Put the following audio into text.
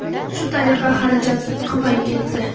Shu tariqa xarajat ko‘payib ketdi.